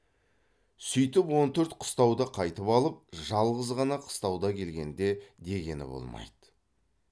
сүйтіп он төрт қыстауды қайтып алып жалғыз ғана қыстауға келгенде дегені болмайды